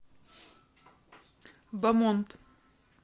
бомонд